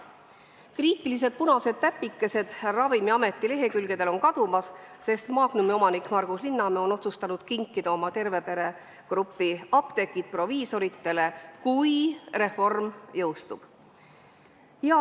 Kriitilised punased täpikesed Ravimiameti lehekülgedel on kadumas, sest Magnumi omanik Margus Linnamäe on otsustanud kinkida oma Terve Pere grupi apteegid proviisoritele, kui reform jõustub.